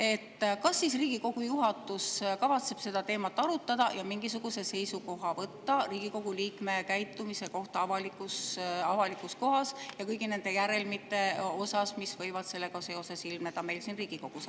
–, kas siis Riigikogu juhatus kavatseb seda teemat arutada ja mingisuguse seisukoha võtta Riigikogu liikme käitumise kohta avalikus kohas ja kõigi nende järelmite osas, mis võivad sellega seoses ilmneda meil siin Riigikogus.